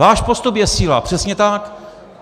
Váš postup je síla, přesně tak.